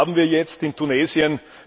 Und was haben wir jetzt in Tunesien?